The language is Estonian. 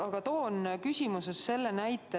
Aga toon oma küsimuses ühe näite.